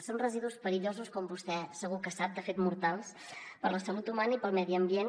són residus perillosos com vostè segur que sap de fet mortals per a la salut humana i per al medi ambient